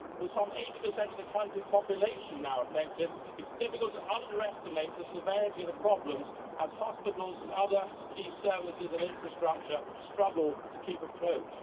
With some 80 of the country's population now affected, it is difficult to overestimate the severity of the problems as hospitals and other key services and infrastructure struggle to keep afloat.